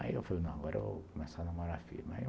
Aí eu falei, não, agora eu vou começar a namorar a filha.